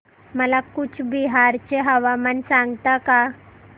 मला कूचबिहार चे हवामान सांगता का